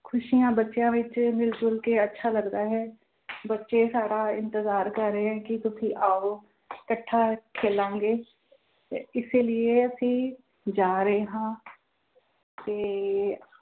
ਖ਼ੁਸ਼ੀਆਂ ਬੱਚਿਆਂ ਵਿੱਚ ਮਿਲ ਜੁਲ ਕੇ ਅੱਛਾ ਲੱਗਦਾ ਹੈ ਬੱਚੇ ਸਾਡਾ ਇੰਤਜ਼ਾਰ ਕਰ ਰਹੇ ਆ ਕਿ ਤੁਸੀਂ ਆਓ ਇਕੱਠਾ ਖੇਲਾਂਗੇ ਤੇ ਇਸੇ ਲਈਏ ਅਸੀਂ ਜਾ ਰਹੇ ਹਾਂ ਤੇ